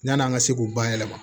Yan'an ka se k'u bayɛlɛma